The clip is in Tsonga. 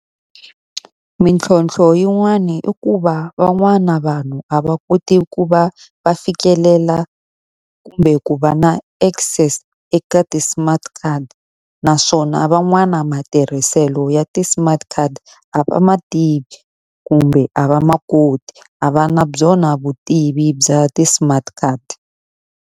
Mintlhontlho yin'wani i ku va van'wana vanhu a va koti ku va va fikelela kumbe ku va na access eka ti-smart card. Naswona van'wana matirhiselo ya ti-smart card a va ma tivi kumbe a va makoti. A va na byona vutivi bya ti-smart card.